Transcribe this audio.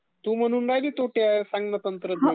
तू म्हणू राहिली तोटे आहेत..